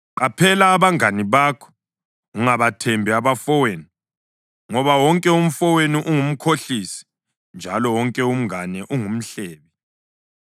“Qaphela abangane bakho, ungabathembi abafowenu. Ngoba wonke umfowenu ungumkhohlisi, njalo wonke umngane ungumhlebi.